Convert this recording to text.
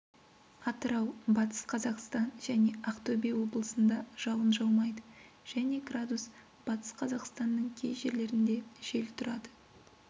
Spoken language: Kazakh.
атырау батыс қазақастан және ақтөбе облысында жауын жаумайды және градус батыс қазақстанның кей жерлерінде жел тұрады